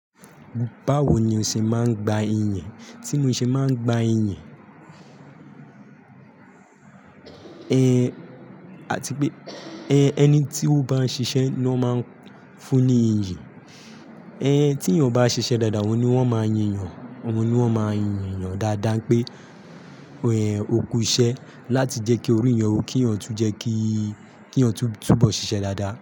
Báwo ni o ṣe máa ń gba iyìn? Tí mo ṣe máa ń gba atipe ẹni tí ó bá ń ṣiṣẹ́ ni wọ́n máa ń fún ní iyìn. Ẹni tí yàn bá ṣiṣẹ́ dáadáa, oun ni wọ́n máa ń yin yàn. Ohun ni wọ́n máa ń yinyàn dáadáa pé ó kú iṣẹ́ láti jẹ́ kí orí yàn ó kí yàn tú jẹ́ kí yàn tú bọ́ ṣiṣẹ́ dáadáa.